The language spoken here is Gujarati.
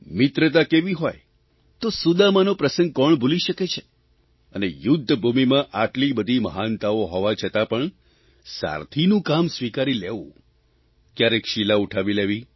મિત્રતા કેવી હોય તો સુદામાનો પ્રસંગ કોણ ભૂલી શકે છે અને યુદ્ધભૂમિમાં આટલી બધી મહાનતાઓ હોવા છતાં પણ સારથીનું કામ સ્વીકારી લેવું કયારેક શીલા ઉઠાવી લેવી